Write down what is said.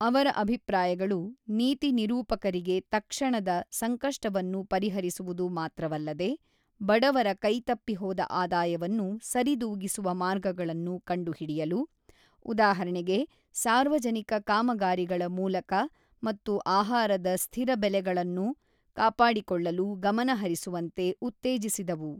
ಅವರ ಅಭಿಪ್ರಾಯಗಳು, ನೀತಿ ನಿರೂಪಕರಿಗೆ ತಕ್ಷಣದ ಸಂಕಷ್ಟವನ್ನು ಪರಿಹರಿಸುವುದು ಮಾತ್ರವಲ್ಲದೆ ಬಡವರ ಕೈತಪ್ಪಿ ಹೋದ ಆದಾಯವನ್ನು ಸರಿದೂಗಿಸುವ ಮಾರ್ಗಗಳನ್ನು ಕಂಡುಹಿಡಿಯಲು, ಉದಾಹರಣೆಗೆ ಸಾರ್ವಜನಿಕ ಕಾಮಗಾರಿಗಳ ಮೂಲಕ ಮತ್ತು ಆಹಾರದ ಸ್ಥಿರ ಬೆಲೆಗಳನ್ನು ಕಾಪಾಡಿಕೊಳ್ಳಲು ಗಮನಹರಿಸುವಂತೆ ಉತ್ತೇಜಿಸಿದವು.